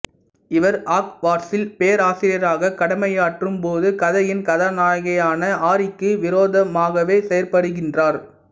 இவர் ஆக்வாட்சில் பேராசிரியராக கடமையாற்றும் போது கதையின் கதாநாயகனாகிய ஆரிக்கு விரோதமாகவே செயற்படுகின்றார்